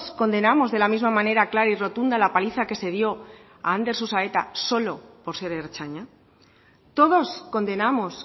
condenamos de la misma manera clara y rotunda la paliza que se dio a ander susaeta solo por ser ertzaina todos condenamos